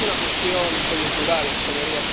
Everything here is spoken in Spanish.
No es una cuestión coyuntural, señorías.